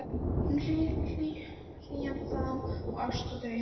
Um hlýjan faðm og ást og draum, um líf